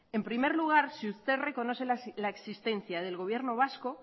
en primer lugar si usted reconoce la existencia del gobierno vasco